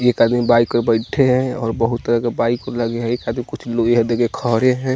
एक आदमी बाइक पे बैठे हैं और बहुत तरह के बाइक लगे हैं येही खातिर कुछ लिय दिए खड़े हैं।